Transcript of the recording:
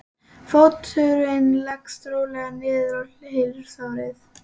Fóturinn leggst rólega niður og hylur sárið.